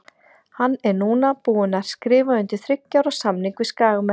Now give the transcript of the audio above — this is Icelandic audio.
Hann er núna búinn að skrifa undir þriggja ára samning við Skagamenn.